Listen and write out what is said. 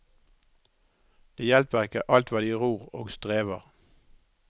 Det hjelper ikke alt hva de ror og strever.